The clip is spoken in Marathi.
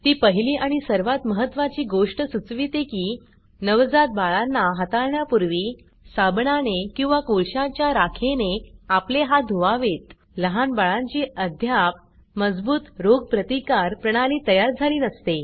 ती पहिली आणि सर्वात महत्वाची गोष्ट सुचविते की नवजात बाळांना हाताळण्यापूर्वी साबणाने किंवा कोळशाच्या राखेने आपले हात धुवावेत लहान बाळांची अद्याप मजबूत रोगप्रतिकार प्रणाली तयार झाली नसते